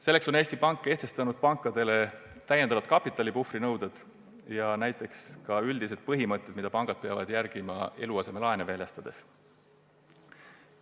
Selleks on Eesti Pank kehtestanud pankadele täiendavad kapitalipuhvri nõuded ja ka üldised põhimõtted, mida pangad peavad eluasemelaene väljastades järgima.